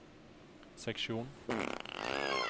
seksjon